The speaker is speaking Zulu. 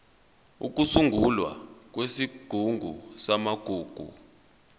ukusungulwa kwesigungu samagugu